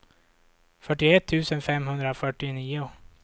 fyrtioett tusen femhundrafyrtionio